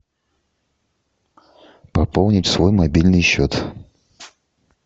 пополнить свой мобильный счет